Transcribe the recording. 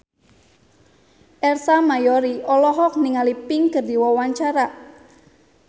Ersa Mayori olohok ningali Pink keur diwawancara